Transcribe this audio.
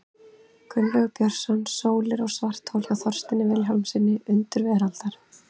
Gunnlaugur Björnsson, Sólir og svarthol, hjá Þorsteini Vilhjálmssyni, Undur veraldar.